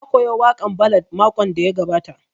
Na koya waƙan ballad makon da ya gabata